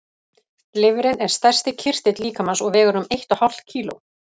Lifrin er stærsti kirtill líkamans og vegur um eitt og hálft kíló.